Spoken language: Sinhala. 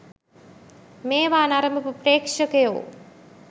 මේවා නරඹපු ප්‍රේක්ෂකයෝ